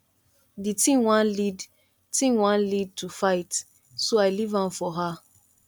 the thing wan lead thing wan lead to fight so i leave am for her